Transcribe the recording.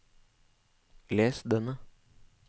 les denne